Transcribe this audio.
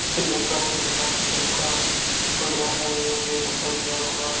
चिलकना चिलकना कलर का पड़या है ऐ बैठ बा जयांक्ला।